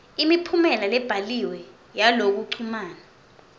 imiphumela lebhaliwe yalokuchumana